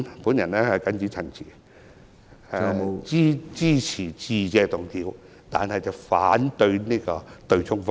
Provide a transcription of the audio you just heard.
我謹此陳辭，支持致謝議案，反對對沖方案。